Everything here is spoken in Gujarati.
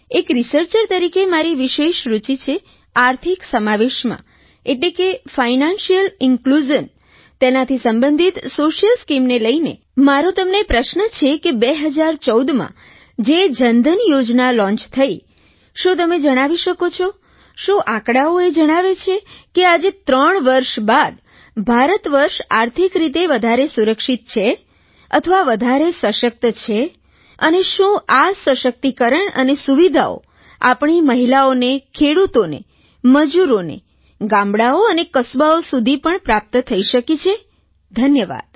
એક રિસર્ચર તરીકે મારી વિશેષ રુચિ છે આર્થિક સમાવેશમાં એટલે કે ફાઇનાન્સિઅલ ઇન્ક્લુઝન તેનાથી સંબંધિત સોશિયલ સ્કીમને લઇને મારો તમને પ્રશ્ન છે કે 2014 માં જે જનધન યોજના લૉન્ચ થઇ શું તમે જણાવી શકો છો શું આંકડાંઓ એ જણાવે છે કે આજે ત્રણ વર્ષ બાદ ભારતવર્ષ આર્થિક રીતે વધારે સુરક્ષિત છે અથવા વધારે સશક્ત છે અને શું આ સશક્તિકરણ અને સુવિધાઓ આપણી મહિલાઓને ખેડૂતોને મજૂરોને ગામડાંઓ અને કસ્બાઓ સુધી પણ પ્રાપ્ત થઇ શકી છે ધન્યવાદ